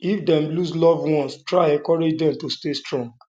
if dem loose loved ones try encourage dem to stay strong